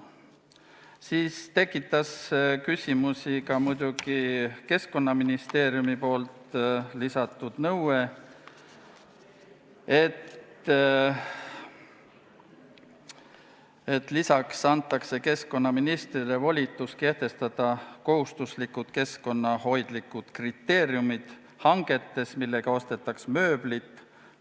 Küsimusi tekitas muidugi ka Keskkonnaministeeriumi lisatud nõue, et keskkonnaministrile antaks volitus kehtestada kohustuslikud keskkonnahoidlikud kriteeriumid hangetele, millega ostetakse mööblit,